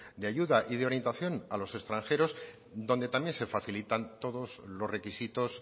de ayuda y de orientación a los extranjeros donde también se facilitan todos los requisitos